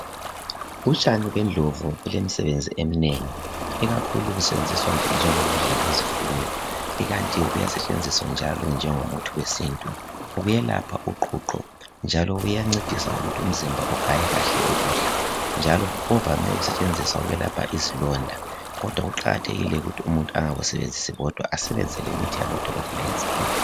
Utshani bendlovu bulomsebenzi eminengi ikakhulu busebenziswa njengo kudla kwezifuyo ikanti kuyasetshenziswa njalo njengomuthi wesintu buyelapha uqhuqho njalo buyancedisa ukuthi umzimba ugaya kahle ukudla njalo buvame ukusentshenziswa ukwelapha isilonda kodwa kuqakathekile ukuthi umuntu engakusebenzisi kodwa asebenzise lemithi yabodokotela yesikhiwa